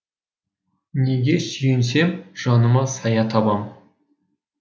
неге сүйенсем жаныма сая табам